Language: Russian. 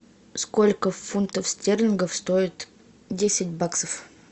сколько фунтов стерлингов стоит десять баксов